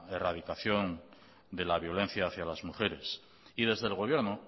erradicación de la violencia hacia las mujeres y desde el gobierno